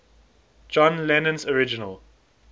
john lennon's original